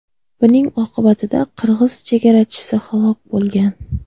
Buning oqibatida qirg‘iz chegarachisi halok bo‘lgan.